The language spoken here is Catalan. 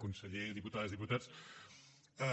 conseller diputades diputats